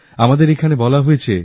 আমাদের এখানে বলা হয়েছে